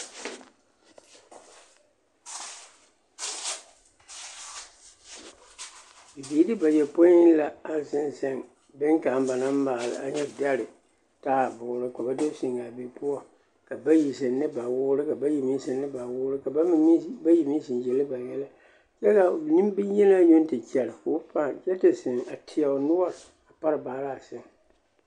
Bibiiri bayɔpoi la a zeŋ zeŋ boŋkaŋa ba naŋ maale a nyɛ dɛre taaboore ka ba do zeŋ a be poɔ ka bayi zeŋ ne ba woore ka bayi meŋ zeŋ ba woore ka bayi meŋ zeŋ yele ba yɛlɛ kyɛ ka nembonyenaa yoŋ te kyɛre k'o fãã kyɛ te zeŋ a teɛ o noɔre a pare baaraa seŋ.